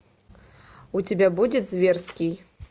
у тебя будет зверский